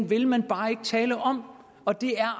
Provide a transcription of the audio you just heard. vil man bare ikke tale om og det er